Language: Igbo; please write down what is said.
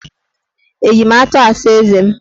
Eji m atụ asa eze m?